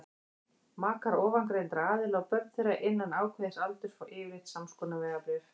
makar ofangreindra aðila og börn þeirra innan ákveðins aldurs fá yfirleitt samskonar vegabréf